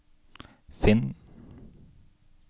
finn